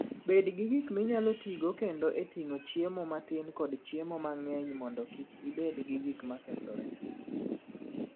Bed gi gik minyalo tigo kendo e ting'o chiemo matin kod chiemo mang'eny mondo kik ibed gi gik ma kethore.